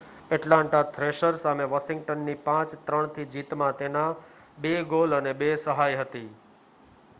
Atlanta Thrasher સામે વોશિંગ્ટનની 5-3 થી જીતમાં તેના 2 ગોલ અને 2 સહાય હતી